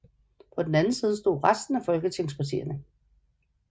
På den anden side stod resten af folketingspartierne